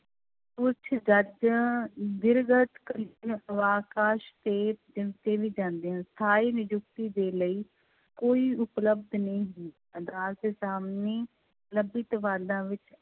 ਉੱਚ ਜੱਜ ਵੀ ਜਾਂਦੇ ਹਨ, ਸਥਾਈ ਨਿਯੁਕਤੀ ਦੇੇ ਲਈ ਕੋਈ ਉਪਲਬਧ ਨਹੀਂ ਵਿੱਚ